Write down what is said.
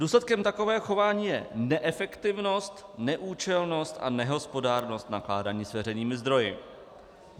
Důsledkem takového chování je neefektivnost, neúčelnost a nehospodárnost nakládání s veřejnými zdroji.